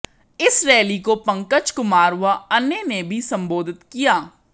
इस रैली को पंकज कुमार व अन्य ने भी संबोधित किया